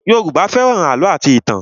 Yoruba fẹ́ràn àlọ́ àti ìtàn